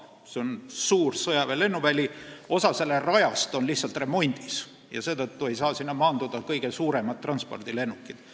See on suur sõjaväelennuväli, aga osa selle rajast on remondis ja seetõttu ei saa sinna maanduda kõige suuremad transpordilennukid.